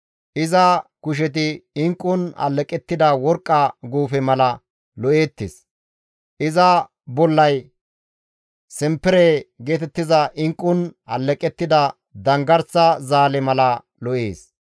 Iza kusheti inqqun alleqettida worqqa guufe mala lo7eettes; iza bollay simpere geetettiza inqqun alleqettida danggarsa zaale mala lo7ees.